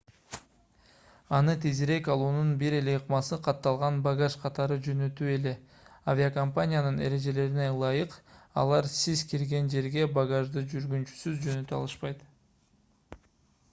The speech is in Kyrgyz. аны тезирээк алуунун бир эле ыкмасы катталган багаж катары жөнөтүү эле авиокомпаниянын эрежелерине ылайык алар сиз кирген жерге багажды жүргүнчүсүз жөнөтө алышпайт